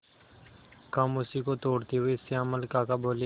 खामोशी को तोड़ते हुए श्यामल काका बोले